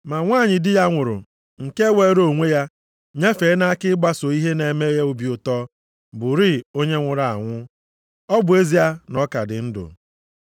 Ma nwanyị di ya nwụrụ nke weere onwe ya nyefee nʼaka ịgbaso ihe na-eme ya obi ụtọ bụrịị onye nwụrụ anwụ, ọ bụ ezie na ọ ka dị ndụ.